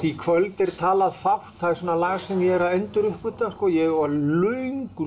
í kvöld er talað fátt það er lag sem ég er að enduruppgötva ég var löngu